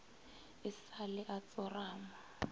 e sa le a tsorama